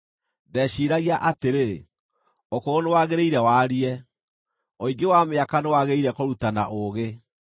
Ndeciiragia atĩrĩ, ‘Ũkũrũ nĩwaagĩrĩire warie; ũingĩ wa mĩaka nĩwaagĩrĩire kũrutana ũũgĩ.’